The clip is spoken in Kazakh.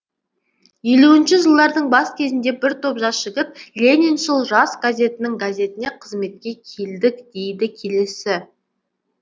елуінші жылдардың бас кезінде бір топ жас жігіт лениншіл жас газетінің газетіне қызметке келдік дейді келесі